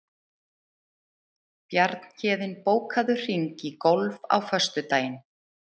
Bjarnhéðinn, bókaðu hring í golf á föstudaginn.